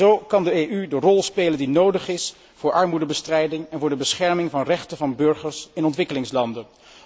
Zo kan de EU de rol spelen die nodig is voor armoedebestrijding en voor de bescherming van rechten van burgers in ontwikkelingslanden.